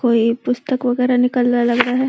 कोई पुस्तक वगेरा निकल रहा लग रहा है।